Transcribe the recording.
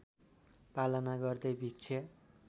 पालना गर्दै भिक्षा